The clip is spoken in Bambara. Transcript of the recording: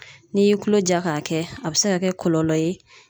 N'i y'i kulo ja k'a kɛ a be se ka kɛ kɔlɔlɔ ye